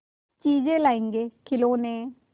चीजें लाएँगेखिलौने